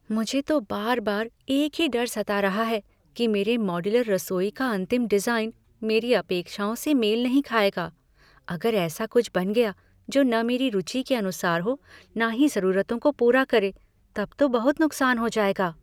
मुझे तो बार बार एक ही डर सता रहा है कि मेरे मॉड्यूलर रसोई का अंतिम डिज़ाइन मेरी अपेक्षाओं से मेल नहीं खाएगा। अगर ऐसा कुछ बन गया जो न मेरी रुचि के अनुसार हो न ही ज़रूरतों को पूरा करे, तब तो बहुत नुक्सान हो जाएगा।